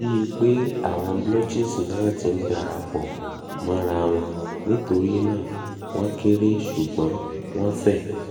bii pe awon blotches na ti n darapo morawon nitori naa won kere sugbon won fe